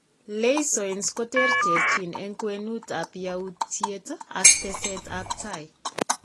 Leisons koterterchin eng' kwenut ab yaautyiet ak teset ab tai